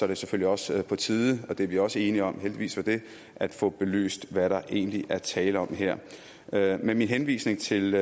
det selvfølgelig også på tide og det er vi også enige om heldigvis for det at få belyst hvad der egentlig er tale om her her med min henvisning til